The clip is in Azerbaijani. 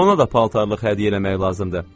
Ona da paltarlıq hədiyyə eləmək lazımdır.